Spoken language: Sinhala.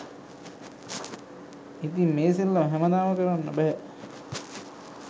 ඉතින් මේ සෙල්ලම හැමදාම කරන්න බැහැ